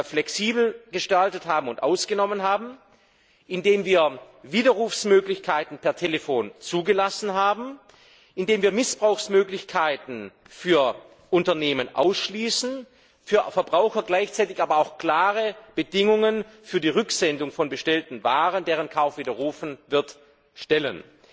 flexibel gestaltet und ausgenommen haben, indem wir Widerrufsmöglichkeiten per Telefon zugelassen haben, indem wir Missbrauchsmöglichkeiten für Unternehmen ausschließen, für Verbraucher gleichzeitig aber auch klare Bedingungen für die Rücksendung von bestellten Waren, deren Kauf widerrufen wird, stellen